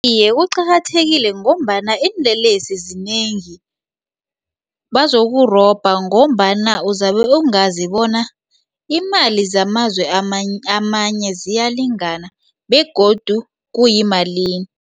Iye, uqakathekile ngombana iinlelesi zinengi bazokurobha ngombana uzabe ungazi bona iimali zamazwe amanye ziyalingana begodu kuyimalini.